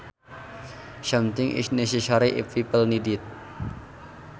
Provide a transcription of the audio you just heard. Something is necessary if people need it